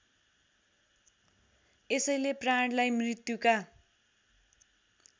यसैले प्राणलाई मृत्युका